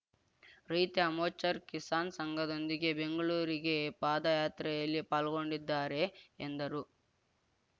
ರೈತ ಮೋರ್ಚಾ ಕಿಸಾನ್‌ ಸಂಘದೊಂದಿಗೆ ಬೆಂಗಳೂರಿಗೆ ಪಾದಯಾತ್ರೆಯಲ್ಲಿ ಪಾಲ್ಗೊಂಡಿದ್ದಾರೆ ಎಂದರು